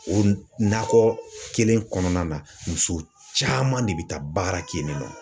O nakɔ kelen kɔnɔna na muso caman de bɛ taa baara kɛ yen nɔ.